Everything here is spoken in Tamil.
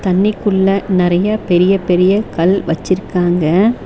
தண்ணிக்குள்ள நறைய பெரிய பெரிய கல் வச்சிருக்காங்க.